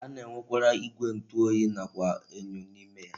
A na-enwekwara igwe ntu oyi nakwa enyo n'ime ya.